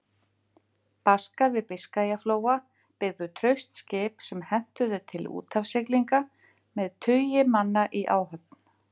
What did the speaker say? Baskar við Biskajaflóa byggðu traust skip sem hentuðu til úthafssiglinga, með tugi manna í áhöfn.